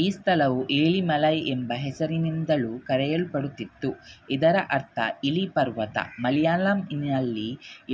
ಈ ಸ್ಥಳವು ಏಳಿಮಲೈ ಎಂಬ ಹೆಸರಿನಿಂದಲೂ ಕರೆಯಲ್ಪಡುತ್ತಿತ್ತು ಇದರರ್ಥ ಇಲಿ ಪರ್ವತ ಮಲೆಯಾಳಂನಲ್ಲಿ